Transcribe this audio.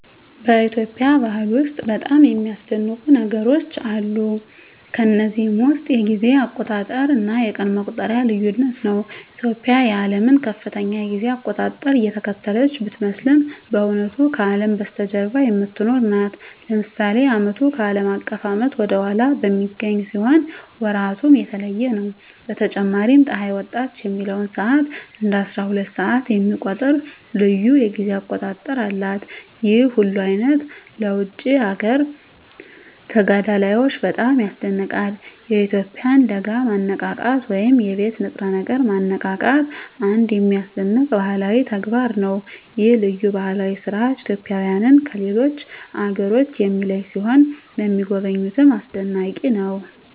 በኢትዮጵያ ባህል ውስጥ በጣም የሚያስደንቁ ነገሮች አሉ። ከነዚህም ውስጥ የጊዜ አቆጣጠር እና የቀን መቁጠሪያው ልዩነት ነው። ኢትዮጵያ የዓለምን ከፍተኛ የጊዜ አቆጣጠር እየተከተለች ስትመስል በእውነቱ ከአለም በስተጀርባ የምትኖር ናት። ለምሳሌ ዓመቱ ከአለም አቀፍ ዓመት ወደ ኋላ በሚገኝ ሲሆን ወራቱም የተለየ ነው። በተጨማሪም ፀሐይ ወጣች የሚለውን ሰዓት እንደ አስራሁለት ሰዓት የሚቆጥር ልዩ የጊዜ አቆጣጠር አላት። ይህ ሁሉ ልዩነት ለውጭ አገር ተጋዳላዮች በጣም ያስደንቃል። የኢትዮጵያውያን ለጋ ማነቃቃት ወይም የቤት ንጥረ ነገር ማነቃቃትም አንድ የሚያስደንቅ ባህላዊ ተግባር ነው። ይህ ልዩ ባህላዊ ሥርዓት ኢትዮጵያውያንን ከሌሎች አገሮች የሚለይ ሲሆን ለሚጎበኙትም አስደናቂ ነው።